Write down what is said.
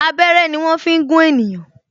Abẹ́rẹ́ ni wọn fi ń gún ènìyàn